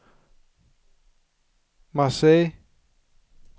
Marseille